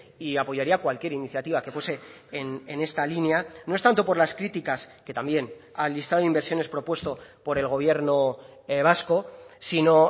y apoyaría cualquier iniciativa que fuese en esta línea no es tanto por las críticas que también al listado de inversiones propuesto por el gobierno vasco sino